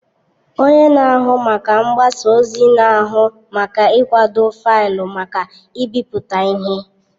Onye na-ahụ maka mgbasa ozi na-ahụ maka ịkwado faịlụ maka ịbipụta ihe.